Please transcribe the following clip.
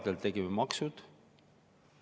Kevadel tegime maksu.